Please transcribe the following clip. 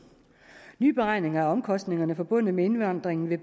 nye beregninger af omkostningerne forbundet med indvandringen vil